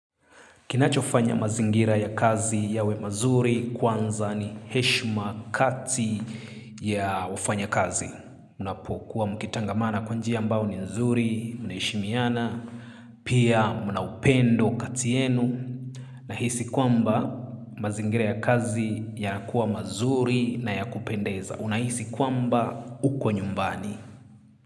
Kinachofanya mazingira ya kazi yawe mazuri kwanza ni heshima kati ya wafanya kazi. Unapokuwa mkitangamana kwa njia ambao ni nzuri, mnaheshimiana, pia mna upendo kati yenu. Nahisi kwamba mazingira ya kazi ya kuwa mazuri na ya kupendeza. Unahisi kwamba uko nyumbani.